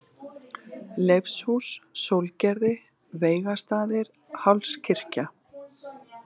Leifshús, Sólgerði, Veigastaðir, Hálskirkja